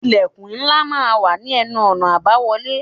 Ilẹ̀kùn ńlá máa ń wà ní ẹnu-ọ̀nà àbáwọlé.